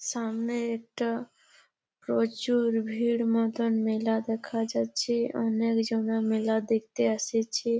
সামনে একটা প্রচুর ভিড় মতো মেলা দেখা যাচ্ছে অনেকজন মেলা দেখতে আসিছে ।